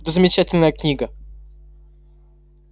это замечательная книга